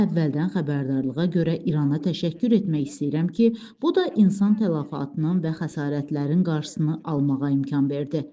Mən əvvəldən xəbərdarlığa görə İrana təşəkkür etmək istəyirəm ki, bu da insan təlafatının və xəsarətlərin qarşısını almağa imkan verdi.